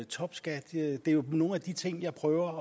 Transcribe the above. topskat det er jo nogle af de ting jeg prøver